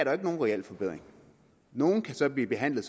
jo ikke nogen reel forbedring nogle kan så blive behandlet